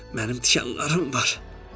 Mənim tikanlarım var.